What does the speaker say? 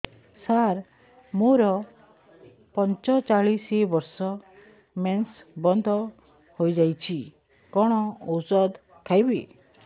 ସାର ମୋର ପଞ୍ଚଚାଳିଶି ବର୍ଷ ମେନ୍ସେସ ବନ୍ଦ ହେଇଯାଇଛି କଣ ଓଷଦ ଖାଇବି